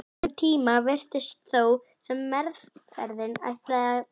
Um tíma virtist þó sem meðferðin ætlaði að bera árangur.